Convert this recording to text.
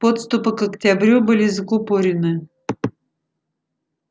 подступы к октябрю были закупорены